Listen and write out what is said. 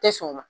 Tɛ sɔn o ma